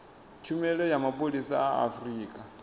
tshumelo ya mapholisa a afurika